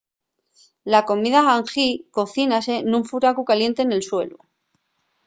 la comida hangi cocínase nun furacu caliente nel suelu